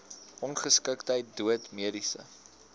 ongeskiktheid dood mediese